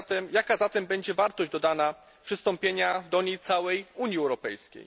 Jaka zatem będzie wartość dodana przystąpienia do niej całej Unii Europejskiej?